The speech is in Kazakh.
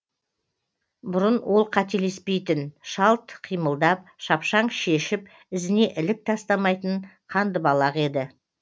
бұрын ол қателеспейтін шалт қимылдап шапшаң шешіп ізіне ілік тастамайтын қандыбалақ еді